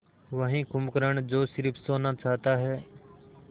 वही कुंभकर्ण जो स़िर्फ सोना चाहता है